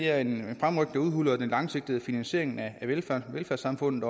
er en fremrykning der udhuler den langsigtede finansiering af velfærdssamfundet